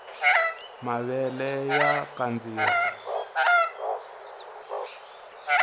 mavele aya kandziwa